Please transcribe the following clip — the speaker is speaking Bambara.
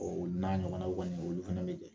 O n'a ɲɔgɔna kɔni olu fana bɛ kɛ